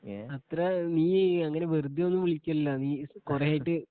A അത്ര നീയ് അങ്ങനെ വെറുതെ ഒന്നും വിളിക്കയില്ലലോ നീ കുറെയായിട്ട്